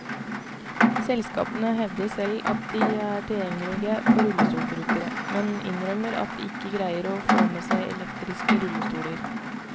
Selskapene hevder selv at de er tilgjengelige for rullestolbrukere, men innrømmer at de ikke greier å få med seg elektriske rullestoler.